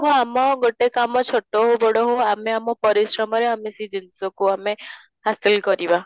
କୁ ଆମ ଗୋଟେ କାମ ଛୋଟ ହଉ ବଡ ହଉ ଆମେ ଆମ ପରିଶ୍ରମରେ ଆମେ ସେ ଜିନିଷକୁ ଆମେ ହାସିଲ କରିବା